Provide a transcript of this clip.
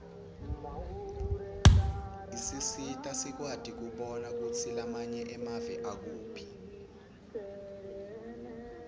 isisita sikwati kubona kutsi lamanye emave akuphi